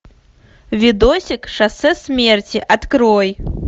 видосик шоссе смерти открой